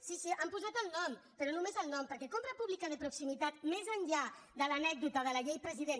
sí sí hi han posat el nom però només el nom perquè compra pública de proximi·tat més enllà de l’anècdota de la llet président